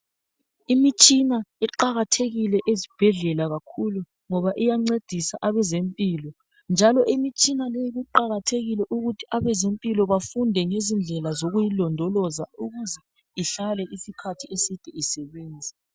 Imitshina iqakathekile ezibhedlela kakhulu, ngoba iyancedisa abezempilo njalo imitshina leyi kuqakathekile ukuthi abezempilo bafunde ngezindlela zokuyilondoloza ukuze ihlale isikhathi eside isebenza.